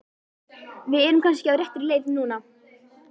Við erum kannski á réttri leið núna!